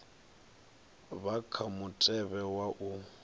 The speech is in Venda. vha kha mutevhe wa u